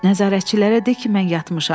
Nəzarətçilərə de ki, mən yatmışam.